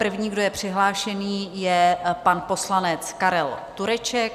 První, kdo je přihlášený, je pan poslanec Karel Tureček.